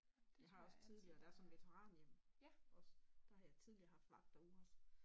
Jeg har også tidligere der er sådan et veteranhjem også der har jeg tidligere haft vagter ude også